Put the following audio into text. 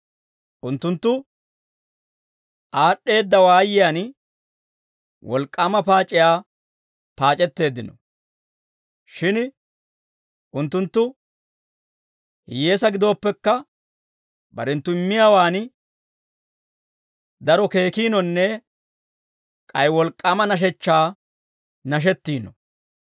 Unttunttu aad'd'eedda waayiyaan wolk'k'aama paac'iyaa paac'etteeddino; shin unttunttu hiyyeesaa gidooppekka, barenttu immiyaawan daro keekinonne k'ay wolk'k'aama nashechchaa nashettiino.